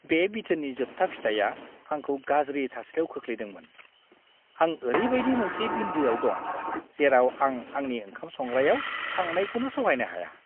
बे बिथोननि जोबथा फिथाया आंखौ गाज्रि थासारियाव खोख्लैदोंमोन। आं ओरैबायदि मोनसे बिन्दोआव दं, जेराव आं आंनि ओंखाम संग्रायाव थानायखौनो सहायनो हाया!